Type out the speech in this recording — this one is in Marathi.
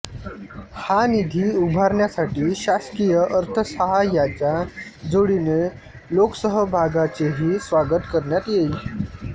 हा निधी उभारण्यासाठी शासकीय अर्थसाहाय्याच्या जोडीने लोकसहभागाचेही स्वागत करण्यात येईल